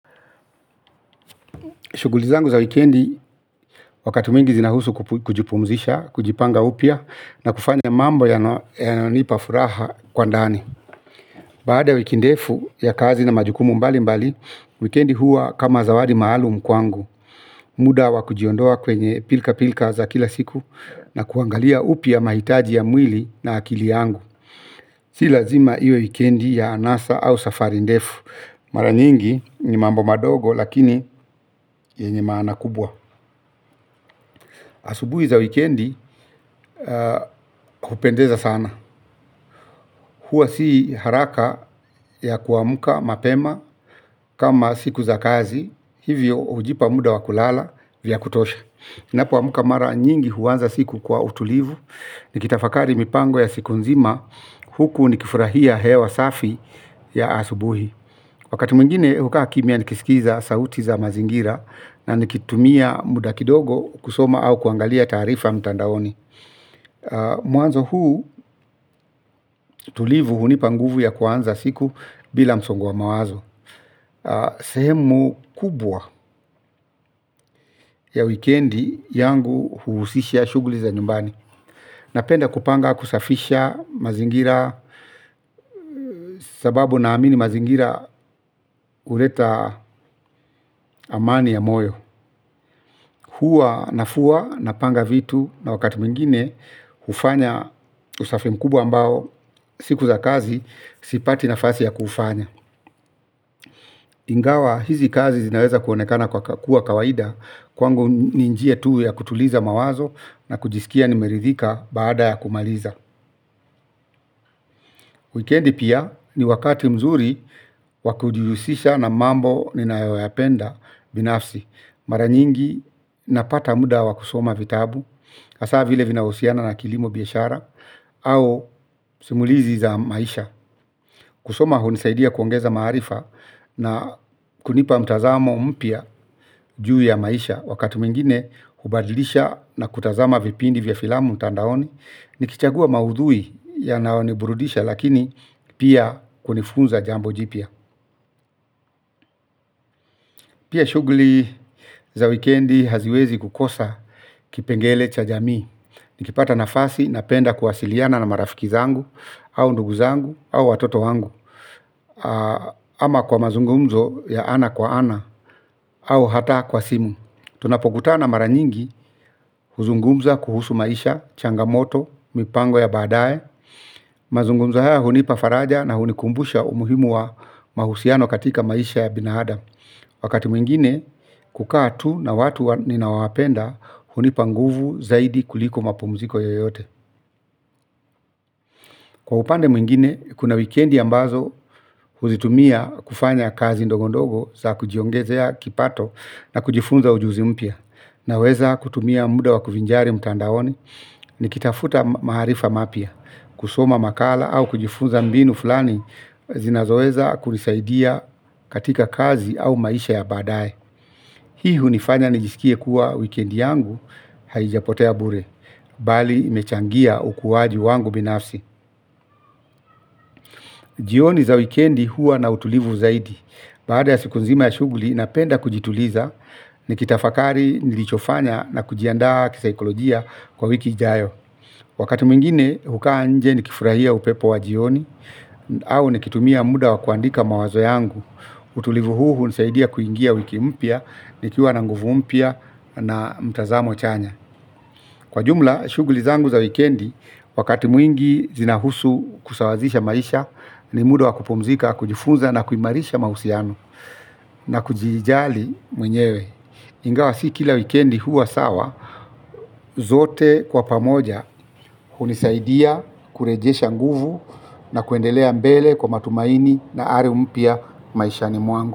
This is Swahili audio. Shughuli zangu za wikendi wakati mwingi zinahusu kujipumzisha, kujipanga upya na kufanya mambo yanayo nipafuraha kwa ndani. Baada wiki ndefu ya kazi na majukumu mbali mbali, wikendi huwa kama zawadi maalum kwangu. Muda wa kujiondoa kwenye pilka pilka za kila siku na kuangalia upya mahitaji ya mwili na akili yangu. Si lazima iwe wikendi ya anasa au safari ndefu, maranyingi ni mambo madogo lakini yenye maana kubwa. Asubuhi za wikendi hupendeza sana. Huwa si haraka ya kuamka mapema kama siku za kazi. Hivyo hujipa muda wa kulala vya kutosha. Ninapoamka mara nyingi huanza siku kwa utulivu. Nikitafakari mipango ya siku nzima huku nikifurahia hewa safi ya asubuhi. Wakati mwingine hukaa kimyia nikisikiza sauti za mazingira na nikitumia muda kidogo kusoma au kuangalia taarifa mtandaoni. Mwanzo huu utulivu hunipanguvu ya kuanza siku bila msongo wa mawazo. Sehemu kubwa ya wikendi yangu huhusisha shughuli za nyumbani. Napenda kupanga kusafisha mazingira. Sababu na amini mazingira huleta amani ya moyo, huwa nafua napanga vitu na wakati mwingine, hufanya usafi mkubwa ambao siku za kazi sipati nafasi ya kufanya ingawa hizi kazi zinaweza kuonekana kuwa kawaida kwangu ni njia tu ya kutuliza mawazo na kujisikia nimeridhika baada ya kumaliza. Weekendi pia ni wakati mzuri wakujihusisha na mambo ninayoyapenda binafsi. Maranyingi napata muda wa kusoma vitabu, hasa vile vinahusiana na kilimo biashara au simulizi za maisha. Kusoma hunisaidia kuongeza maarifa na kunipa mtazamo mpya juu ya maisha, wakati mwingine hubadilisha na kutazama vipindi vya filamu mtandaoni. Nikichagua maudhui yanayoniburudisha lakini pia kunifunza jambo jipya. Pia shughuli za wikendi haziwezi kukosa kipengele cha jamii. Nikipata nafasi napenda kuwasiliana na marafiki zangu au ndugu zangu au watoto wangu. Ama kwa mazungumzo ya ana kwa ana au hata kwa simu. Tunapokutana maranyingi, huzungumza kuhusu maisha, changamoto, mipango ya baadae. Mazungumza haya hunipafaraja na hunikumbusha umuhimu wa mahusiano katika maisha ya binadamu. Wakati mwingine kukaa tu na watu ninaowapenda hunipanguvu zaidi kuliko mapumziko yoyote. Kwa upande mwingine kuna wikendi ambazo huzitumia kufanya kazi ndogo ndogo za kujiongezea kipato na kujifunza ujuzi mpya. Naweza kutumia muda wakuvinjari mtandaoni. Nikitafuta maarifa mapyia kusoma makala au kujifunza mbinu fulani zinazoweza kunisaidia katika kazi au maisha ya badaye. Hii hunifanya nijisikie kuwa wikendi yangu haijapotea bure bali imechangia ukuwaji wangu binafsi. Jioni za weekendi huwa na utulivu zaidi. Baada ya siku nzima ya shughuli, napenda kujituliza nikitafakari nilichofanya na kujiandaa kisaikolojia kwa wiki ijayo. Wakati mwingine, hukaa nje ni kifurahia upepo wa jioni, au ni kitumia muda wa kuandika mawazo yangu. Utulivu huu hunisaidia kuingia wiki mpya, nikiwa na nguvu mpya na mtazamo chanya. Kwa jumla, shughuli zangu za wikendi, wakati mwingi zinahusu kusawazisha maisha, ni muda wakupumzika, kujifunza na kuimarisha mahusiano. Na kujijali mwenyewe, ingawa si kila wikendi huwa sawa zote kwa pamoja hunisaidia kurejesha nguvu na kuendelea mbele kwa matumaini na ari mpya maishani mwangu.